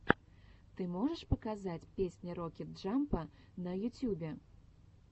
ты можешь показать песня рокет джампа на ютюбе